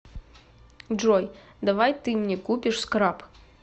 джой давай ты мне купишь скраб